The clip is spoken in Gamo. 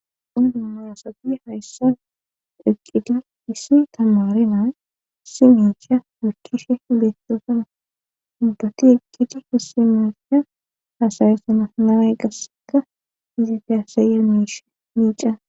ondumaasapi hayssa eqqidi issi tamaari naa si miicha wurcishe beettosana hubbati eqqidi issimessha haasayoosana naae qaseka iziti hasaye miishe miica